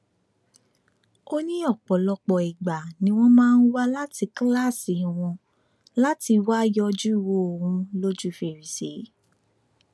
ó ní ọpọlọpọ ìgbà ni wọn máa ń wá láti kíláàsì wọn láti wáá yọjú wo òun lójú fèrèsé